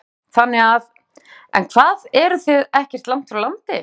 Páll: Þannig að, en hvað þið eruð ekkert langt frá landi?